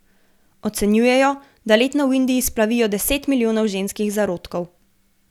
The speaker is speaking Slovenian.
Ocenjujejo, da letno v Indiji splavijo deset milijonov ženskih zarodkov.